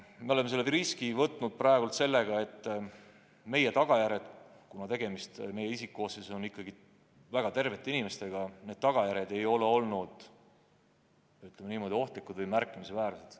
Me oleme praegu riski võtnud ja tagajärjed, kuna isikkoosseisus on tegu ikkagi väga tervete inimestega, ei ole olnud ohtlikud või märkimisväärsed.